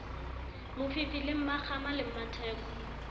mofifi le mmakgama le mmatheko